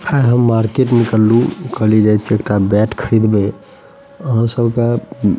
है हम मार्केट निकललू उखड़ी जाइत हे एकटा बैट खरिदवे और सब के --